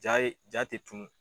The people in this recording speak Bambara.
Ja ye ja te tunun